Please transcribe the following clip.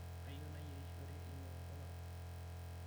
Kayieu nayierishore enyongo narok.